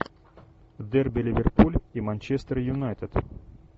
дерби ливерпуль и манчестер юнайтед